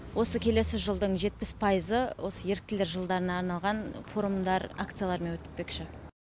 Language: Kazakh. осы келесі жылдың жетпіс пайызы осы еріктілер жылдарына арналған форумдар акциялармен өтпекші